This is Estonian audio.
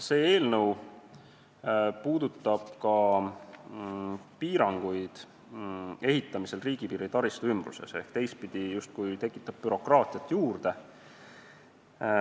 See eelnõu puudutab ka ehitamise piiranguid riigipiiri taristu ümbruses ehk justkui tekitab teistpidi bürokraatiat juurde.